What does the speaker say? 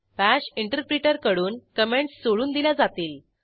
bash इंटरप्रीटरकडून comments सोडून दिल्या जातील